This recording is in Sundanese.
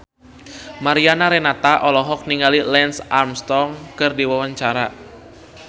Mariana Renata olohok ningali Lance Armstrong keur diwawancara